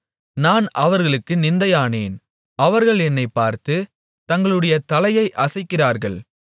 நான் அவர்களுக்கு நிந்தையானேன் அவர்கள் என்னைப் பார்த்து தங்களுடைய தலையை அசைக்கிறார்கள்